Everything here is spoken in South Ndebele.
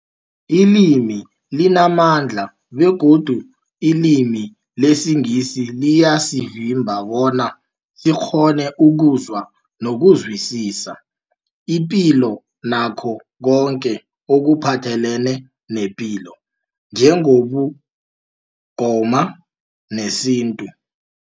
Ilimi limamandla begodu ilimi lesiNgisi liyasivimba bona sikghone ukuzwa nokuzwisisa ipilo nakho koke ekuphathelene nepilo njengobuNgoma nesintu.